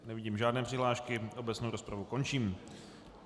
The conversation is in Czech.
Nevidím žádné přihlášky, obecnou rozpravu končím.